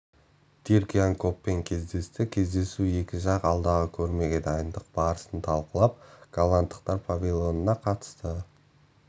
дирк ян коппен кездесті кездесуде екі жақ алдағы көрмеге дайындық барасын талқылап голландықтар павильонына қатысты